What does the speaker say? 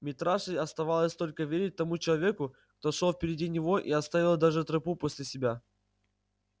митраше оставалось только верить тому человеку кто шёл впереди него и оставил даже тропу после себя